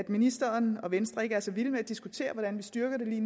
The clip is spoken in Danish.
ministeren og venstre ikke er så vilde med at diskutere hvordan vi styrker det